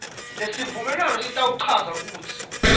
lesivumelwano sitawuchaza kutsi